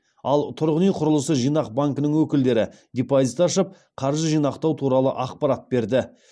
ал тұрғын үй құрылысы жинақ банкінің өкілдері депозит ашып қаржы жинақтау туралы ақпарат берді